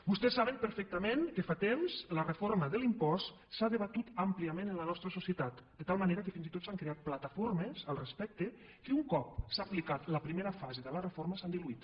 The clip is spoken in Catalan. vostès saben perfectament que fa temps la reforma de l’impost s’ha debatut àmpliament en la nostra societat de tal manera que fins i tot s’han creat plataformes al respecte que un cop s’ha aplicat la primera fase de la reforma s’han diluït